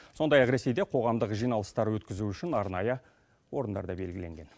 сондай ақ ресейде қоғамдық жиналыстар өткізу үшін арнайы орындар да белгіленген